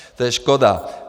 To je škoda.